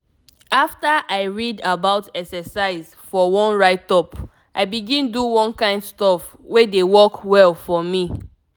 after i read about exercise for one write-up i begin do one kind stuff wey dey work well for me.